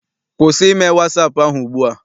Kwụsị ime wasaapụ ahụ ugbua!